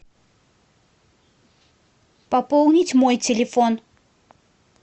пополнить мой телефон